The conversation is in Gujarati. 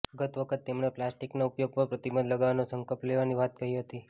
ગત વખતે તેમણે પ્લાસ્ટિકના ઉપયોગ પર પ્રતિબંધ લગાવવાનો સંકલ્પ લેવાની વાત કહી હતી